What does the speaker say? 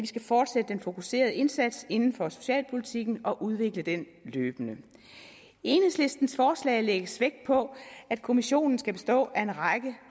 skal fortsætte den fokuserede indsats inden for socialpolitikken og udvikle den løbende i enhedslistens forslag lægges vægt på at kommissionen skal bestå af en række